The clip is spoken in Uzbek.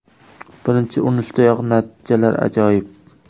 Birinchi urinishdayoq natijalar ajoyib”.